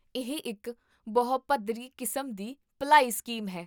ਇਹ ਇੱਕ ਬਹੁ ਪੱਧਰੀ ਕਿਸਮ ਦੀ ਭਲਾਈ ਸਕੀਮ ਹੈ